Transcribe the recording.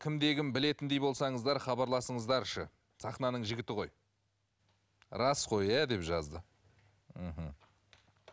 кімде кім білетіндей болсаңыздар хабарласыңыздаршы сахнаның жігіті ғой рас қой иә деп жазды мхм